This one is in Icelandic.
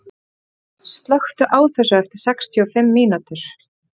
Virginía, slökktu á þessu eftir sextíu og fimm mínútur.